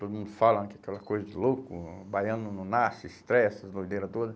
Todo mundo fala que aquela coisa de louco, baiano não nasce, estreia, essas doideira toda.